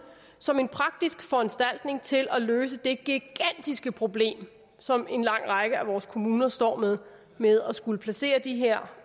som en praktisk foranstaltning til at løse det gigantiske problem som en lang række af vores kommuner står med med at skulle placere de her